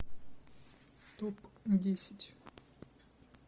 топ десять